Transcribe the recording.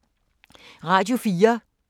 Radio 4